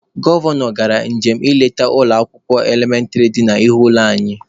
Gọvanọ gara njem nleta n'ụlọ akwụkwọ elementịrị dị n'ihu ụlọ anyị.